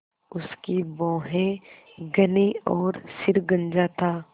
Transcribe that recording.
उसकी भौहें घनी और सिर गंजा था